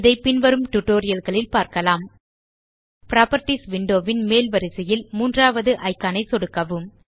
இதை பின்வரும் tutorialகளில் பார்க்கலாம் புராப்பர்ட்டீஸ் விண்டோ ன் மேல்வரிசையில் மூன்றாவது இக்கான் ஐ சொடுக்கவும்